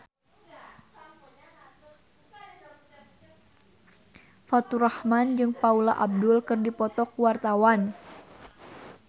Faturrahman jeung Paula Abdul keur dipoto ku wartawan